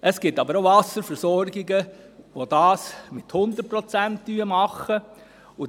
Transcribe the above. Es gibt aber auch Wasserversorgungen, die eine Abdeckung von 100 Prozent aufweisen.